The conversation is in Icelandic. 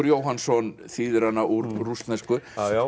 Jóhannsson þýðir hana úr rússnesku